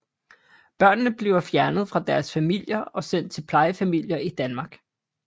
Børnene bliver fjernet fra deres familier og sendt til plejefamilier i Danmark